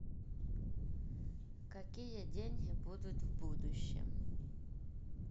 какие деньги будут в будущем